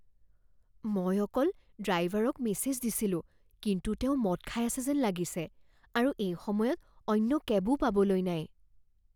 মই অকল ড্ৰাইভাৰক মেছেজ দিছিলো কিন্তু তেওঁ মদ খাই আছে যেন লাগিছে আৰু এই সময়ত অন্য কেবো পাবলৈ নাই।